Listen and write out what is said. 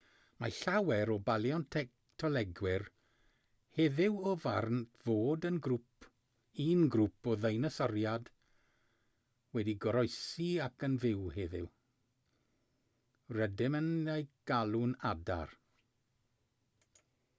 mae llawer o baleontolegwyr heddiw o'r farn fod un grŵp o ddeinosoriaid wedi goroesi ac yn fyw heddiw rydym yn eu galw'n adar